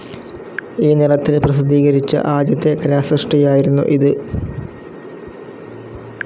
ഈ നിറത്തിൽ പ്രസിദ്ധീകരിച്ച ആദ്യത്തെ കലാസൃഷ്ടിയായിരുന്നു ഇത്.